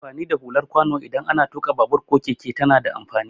Amfani da hular kwano idan ana tuƙa babur ko keke tana da amfani.